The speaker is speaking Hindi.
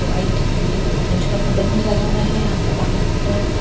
व्हाइट ग्रीन ऑरेंज कलर का बलून्स लगा हुआ हैं यहां पर बाहर की तरफ एक --